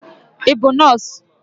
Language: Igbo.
Ị bụ nọọsụ?